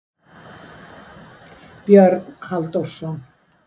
Björn Halldórsson.